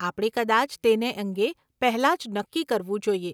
આપણે કદાચ તેને અંગે પહેલાં જ નક્કી કરવું જોઈએ.